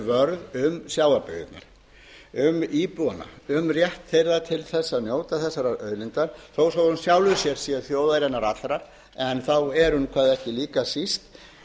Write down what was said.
vörðum sjávarbyggðirnar um íbúana um rétt þeirra til að njóta þessarar auðlindar þó svo í sjálfu sér sé þjóðarinnar allrar en þá er hún ekki hvað líka síst